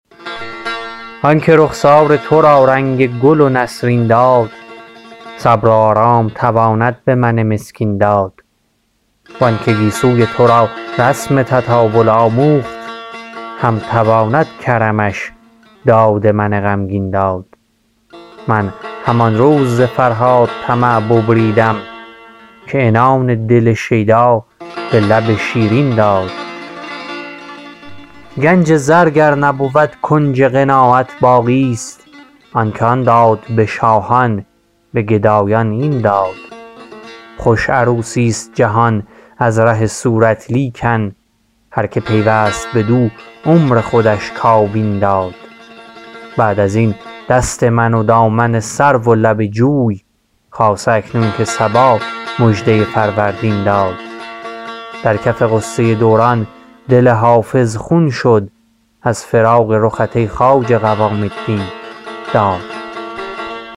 آن که رخسار تو را رنگ گل و نسرین داد صبر و آرام تواند به من مسکین داد وان که گیسوی تو را رسم تطاول آموخت هم تواند کرمش داد من غمگین داد من همان روز ز فرهاد طمع ببریدم که عنان دل شیدا به لب شیرین داد گنج زر گر نبود کنج قناعت باقیست آن که آن داد به شاهان به گدایان این داد خوش عروسیست جهان از ره صورت لیکن هر که پیوست بدو عمر خودش کاوین داد بعد از این دست من و دامن سرو و لب جوی خاصه اکنون که صبا مژده فروردین داد در کف غصه دوران دل حافظ خون شد از فراق رخت ای خواجه قوام الدین داد